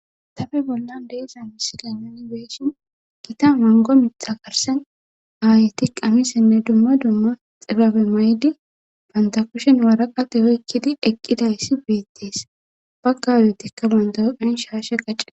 tafe bollan deeza misikamoni geeshin kita mango mita karsen aaytiq amisenne dumma dumma xibabe maydi banta kushen waraqate oykkidi eqqidayssi beettees baggayotikka bandawoqhen shaashe qacceda